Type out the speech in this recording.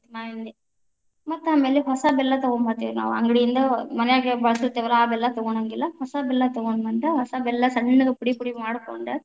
ಮಾವಿನ ಹಣ್ಣಿಂದ್ ಮತ್ತ ಆಮೇಲೆ ಹೊಸ ಬೆಲ್ಲಾ ತಗೊಂಬತೇ೯ವ ನಾವ ಅಂಗಡಿಯಿಂದ ಮನ್ಯಾಗ್ ಬಳುಸುತ್ತೇವಲ್ಲಾ ಆ ಬೆಲ್ಲ ತಗೋಳೊಂಗಿಲ್ಲಾ ಹೊಸಾ ಬೆಲ್ಲಾ ತಗೊಂಡ ಬಂದ್‌, ಹೊಸ ಬೆಲ್ಲಾ ಸಣ್ಣಗ್‌ ಪುಡಿ ಪುಡಿ ಮಾಡ್ಕೊಂಡ.